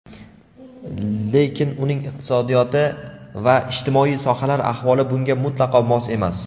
Lekin uning iqtisodiyoti va ijtimoiy sohalar ahvoli bunga mutlaqo mos emas.